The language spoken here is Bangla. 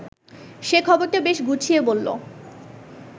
সে খবরটা বেশ গুছিয়ে বলল